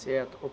Certo.